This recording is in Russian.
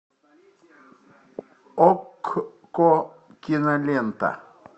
окко кинолента